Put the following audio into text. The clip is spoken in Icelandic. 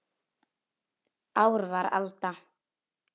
Ár var alda